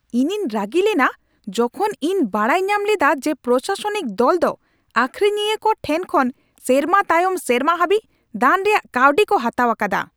ᱤᱧᱤᱧ ᱨᱟᱹᱜᱤ ᱞᱮᱱᱟ ᱡᱚᱠᱷᱚᱱ ᱤᱧ ᱵᱟᱰᱟᱭ ᱧᱟᱢ ᱞᱮᱫᱟ ᱡᱮ ᱯᱨᱚᱥᱟᱥᱚᱱᱤᱠ ᱫᱚᱞ ᱫᱚ ᱟᱹᱠᱷᱨᱤᱧᱤᱭᱟᱹ ᱠᱚ ᱴᱷᱮᱱ ᱠᱷᱚᱱ ᱥᱮᱨᱢᱟ ᱛᱟᱭᱚᱢ ᱥᱮᱨᱢᱟ ᱦᱟᱹᱵᱤᱡ ᱫᱟᱱ ᱨᱮᱭᱟᱜ ᱠᱟᱹᱣᱰᱤ ᱠᱚ ᱦᱟᱛᱟᱣ ᱟᱠᱟᱫᱟ ᱾